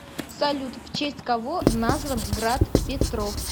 салют в честь кого назван град петров